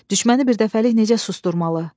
Düşməni birdəfəlik necə susturmalı?